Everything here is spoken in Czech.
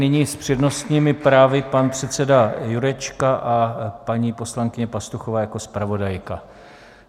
Nyní s přednostními právy pan předseda Jurečka a paní poslankyně Pastuchová jako zpravodajka.